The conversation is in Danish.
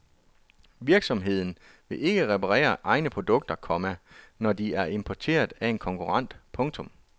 Virksomheden vil ikke reparere egne produkter, komma når de er importeret af en konkurrent. punktum